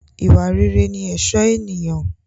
Ìwà rere ni ẹ̀sọ́ ènìyàn.